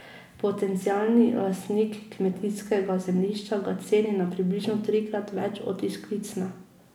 Potencialni lastnik kmetijskega zemljišča ga ceni na približno trikrat več od izklicne.